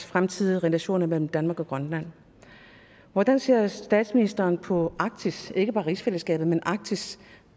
fremtidige relationer mellem danmark og grønland hvordan ser statsministeren på arktis ikke bare rigsfællesskabet men arktis